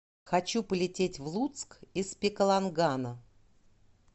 хочу полететь в луцк из пекалонгана